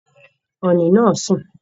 Ọ̀ọ̀nì naa ń sún